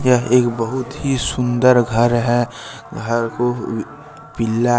यह एक बहुत ही सुंदर घर है घर को पीला--